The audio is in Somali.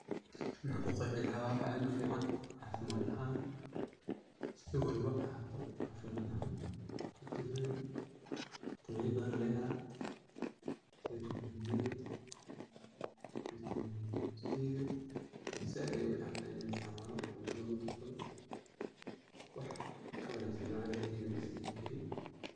Maxan kuqeexi karaa wax aad ufican caafimad ahan si walbo ahato caafimad, fitemen, fitemena badan aa laga helaa, sida fitemen diga, fitemen siga. zaaid ayay uficantahay ini la isticmaalo oo cuntada lugu darsado, wax kawanaagsan ani ahanteyda ismadhihi kaari